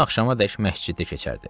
Gün axşamadək məsciddə keçərdi.